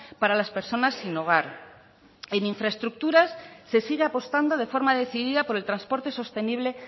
para las personas sin hogar en infraestructuras se sigue apostando de forma decidida por el transporte sostenible